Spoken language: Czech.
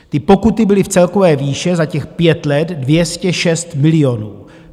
Ty pokuty byly v celkové výši za těch pět let 206 milionů.